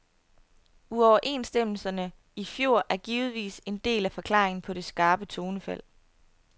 Uoverenstemmelserne i fjor er givetvis en del af forklaringen på det skarpe tonefald.